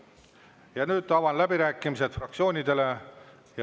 Ja nüüd avan läbirääkimised fraktsioonidele.